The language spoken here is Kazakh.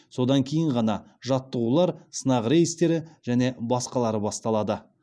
содан кейін ғана жаттығулар сынақ рейстері және басқалары басталады